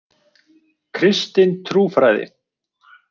Kristin trúfræði.